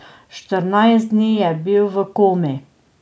Štirinajst dni je bil v komi.